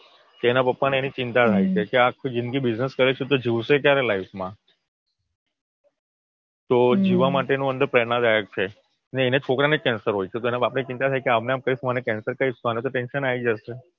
એના પપ્પાને એની ચિંતા થાય છે કે આખી જિંદગી બિઝનેસ કરે છે તો જીવશે ક્યારે લાઈફમાં. તો જીવવા માટેનો અંદર પ્રેરણાદાયક છે એને છોકરાને કેન્સર હોય છે તો તેના બાપને ચિંતા થાય છે આમ ને આમ કેન્સર કહીશ તો અને તો ટેંશન આવી જશે